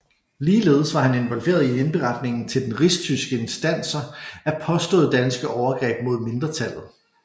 Ligeledes var han involveret i indberetningen til rigstyske instanser af påståede danske overgreb mod mindretallet